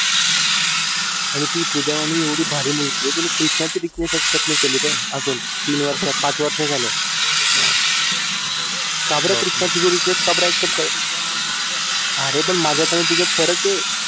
आणि ती पूजा वाणी एवढी भारी मुलगी तिने कृष्णा रिक्वेस्ट एक्सेप्ट नाही केली अजून तीन वर्षात पाच पाच वर्षे झाली का बरं कृष्णाची रिक्वेस्ट का बरं एक्सेप्ट नाही केली अरे माझ्यात आणि तिच्यात फरक आहे